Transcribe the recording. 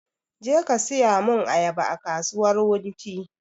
Je ka saya mun ayaba a kasuwar wunti!